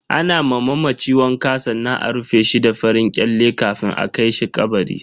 Ana ma mamaci wanka sannan a rufe shi da farin kyale kafin a kai shi kabari.